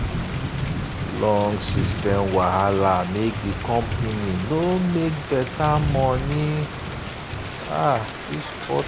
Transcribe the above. long system wahala make di company no make better money um this quarter.